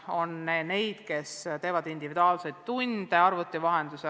On neid lapsi, kes osalevad individuaalsetes tundides arvuti vahendusel.